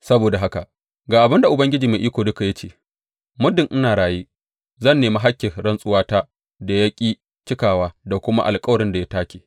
Saboda haka ga abin da Ubangiji Mai Iko Duka ya ce muddin ina raye, zan nemi hakkin rantsuwata da ya ƙi cikawa da kuma alkawarin da ya take.